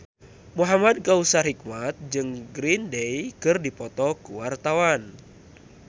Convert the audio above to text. Muhamad Kautsar Hikmat jeung Green Day keur dipoto ku wartawan